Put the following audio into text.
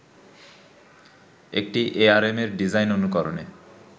একটি এআরএমের ডিজাইন অনুকরণে